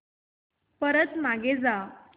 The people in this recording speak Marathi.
परत मागे जा